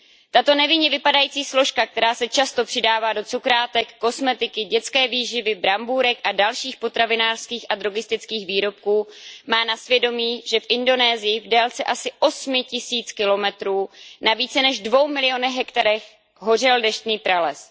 Tato nevinně vypadající složka, která se často přidává do cukrátek, kosmetiky, dětské výživy, brambůrek a dalších potravinářských a drogistických výrobků, má na svědomí, že v Indonésii v délce asi osmi tisíc kilometrů na více než dvou milionech hektarů hořel deštný prales.